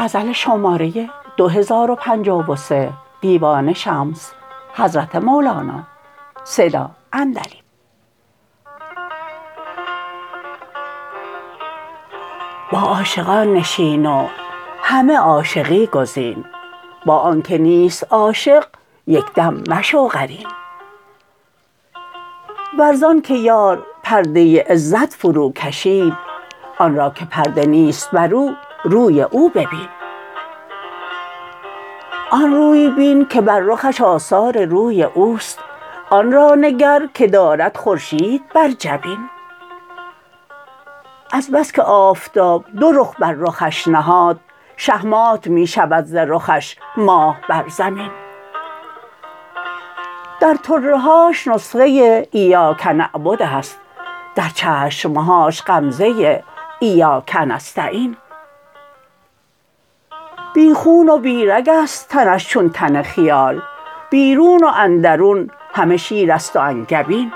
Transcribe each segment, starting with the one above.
با عاشقان نشین و همه عاشقی گزین با آنک نیست عاشق یک دم مشو قرین ور ز آنک یار پرده عزت فروکشید آن را که پرده نیست برو روی او ببین آن روی بین که بر رخش آثار روی او است آن را نگر که دارد خورشید بر جبین از بس که آفتاب دو رخ بر رخش نهاد شهمات می شود ز رخش ماه بر زمین در طره هاش نسخه ایاک نعبد است در چشم هاش غمزه ایاک نستعین بی خون و بی رگ است تنش چون تن خیال بیرون و اندرون همه شیر است و انگبین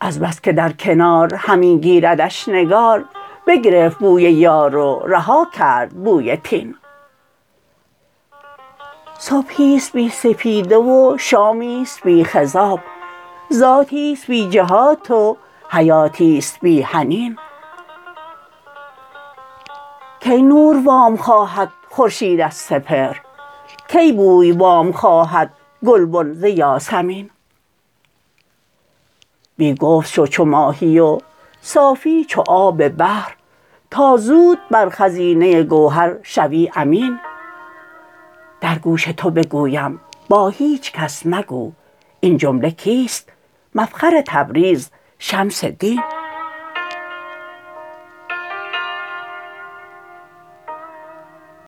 از بس که در کنار همی گیردش نگار بگرفت بوی یار و رها کرد بوی طین صبحی است بی سپیده و شامی است بی خضاب ذاتی است بی جهات و حیاتی است بی حنین کی نور وام خواهد خورشید از سپهر کی بوی وام خواهد گلبن ز یاسمین بی گفت شو چو ماهی و صافی چو آب بحر تا زود بر خزینه گوهر شوی امین در گوش تو بگویم با هیچ کس مگو این جمله کیست مفخر تبریز شمس دین